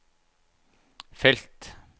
felt